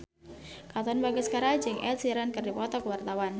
Katon Bagaskara jeung Ed Sheeran keur dipoto ku wartawan